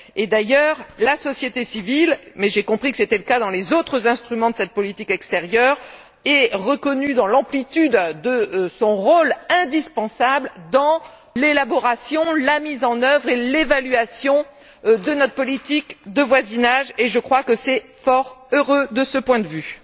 D'ailleurs, la société civile mais j'ai compris que c'était le cas dans les autres instruments de cette politique extérieure est reconnue dans l'amplitude de son rôle indispensable dans l'élaboration, la mise en œuvre et l'évaluation de notre politique de voisinage, et je crois que c'est fort heureux de ce point de vue.